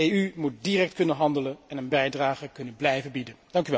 De EU moet direct kunnen handelen en een bijdrage kunnen blijven bieden.